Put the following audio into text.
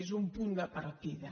és un punt de partida